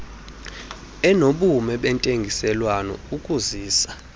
enobume bentengiselwano ukuzisa